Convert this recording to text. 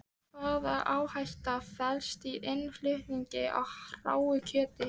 Hvaða áhætta felst í innflutningi á hráu kjöti?